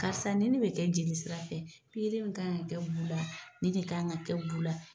Karisa nin de bɛ kɛ jeli sira fɛ min kan ka kɛ bu la nin de kan ka kɛ bu la.